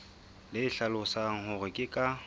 le hlalosang hore ke ka